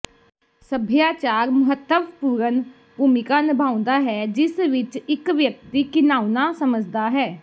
ਸਭਿਆਚਾਰ ਮਹੱਤਵਪੂਰਨ ਭੂਮਿਕਾ ਨਿਭਾਉਂਦਾ ਹੈ ਜਿਸ ਵਿੱਚ ਇੱਕ ਵਿਅਕਤੀ ਘਿਣਾਉਣਾ ਸਮਝਦਾ ਹੈ